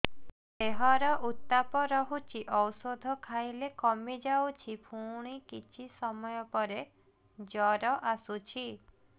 ଦେହର ଉତ୍ତାପ ରହୁଛି ଔଷଧ ଖାଇଲେ କମିଯାଉଛି ପୁଣି କିଛି ସମୟ ପରେ ଜ୍ୱର ଆସୁଛି